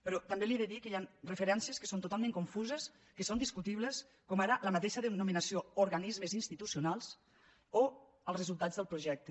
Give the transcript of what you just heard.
però també li he de dir que hi han referències que són totalment confuses que són discutibles com ara la mateixa denominació organismes institucionals o els resultats del projecte